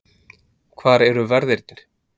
Hvar eru verðirnir?